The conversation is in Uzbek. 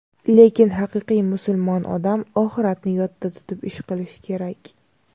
Lekin haqiqiy musulmon odam oxiratni yodda tutib ish qilishi kerak.